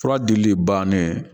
Fura dili bannen